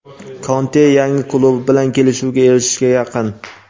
Konte yangi klubi bilan kelishuvga erishishga yaqin.